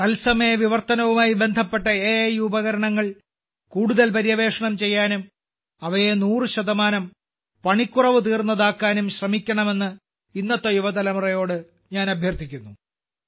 തത്സമയ വിവർത്തനവുമായി ബന്ധപ്പെട്ട അക ഉപകരണങ്ങൾ കൂടുതൽ പര്യവേക്ഷണം ചെയ്യാനും അവയെ 100 പണിക്കുറവ് തീർന്നതാക്കാനും ശ്രമിക്കണമെന്ന് ഇന്നത്തെ യുവതലമുറയോട് ഞാൻ അഭ്യർത്ഥിക്കുന്നു